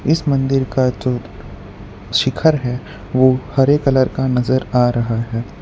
इस मंदिर का जो शिखर है वो हरे कलर का नजर आ रहा है।